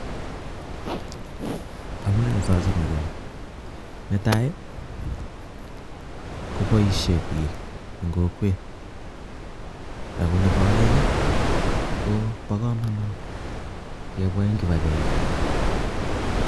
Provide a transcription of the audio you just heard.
Amunee so chomo konii nee tai koboise biik eng kokwet ako nebo aeng ko bokomonut kebwa eng kipagenge